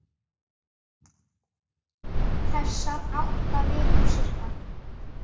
Þessar átta vikur, sirka.